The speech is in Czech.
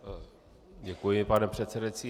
Děkuji, pane předsedající.